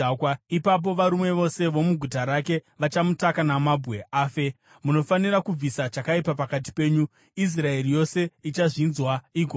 Ipapo varume vose vomuguta rake vachamutaka namabwe afe. Munofanira kubvisa chakaipa pakati penyu. Israeri yose ichazvinzwa igotya.